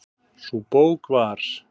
Sú bók var